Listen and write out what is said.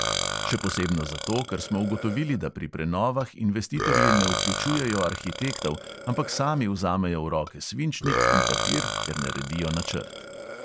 Še posebno zato, ker smo ugotovili, da pri prenovah investitorji ne vključujejo arhitektov, ampak sami vzamejo v roke svinčnik in papir ter naredijo načrt.